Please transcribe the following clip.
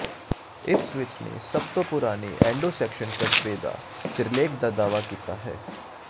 Ipswich ਨੇ ਸਭ ਤੋਂ ਪੁਰਾਣੇ ਐਂਡੋ ਸੈਕਸਨ ਕਸਬੇ ਦਾ ਸਿਰਲੇਖ ਦਾ ਦਾਅਵਾ ਕੀਤਾ ਹੈ